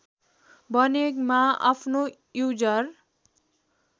बनेमा आफ्नो युजर